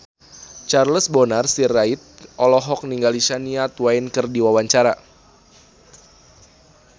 Charles Bonar Sirait olohok ningali Shania Twain keur diwawancara